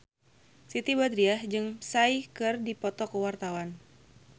Siti Badriah jeung Psy keur dipoto ku wartawan